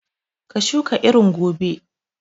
Ka shuka irin gobe!